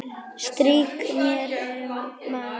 Strýk mér um magann.